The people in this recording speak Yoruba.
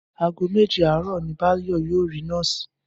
Aago méje aarò ni Báyò yóò rí nóòsì